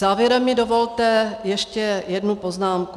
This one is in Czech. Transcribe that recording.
Závěrem mi dovolte ještě jednu poznámku.